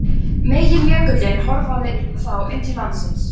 Meginjökullinn hörfaði þá inn til landsins.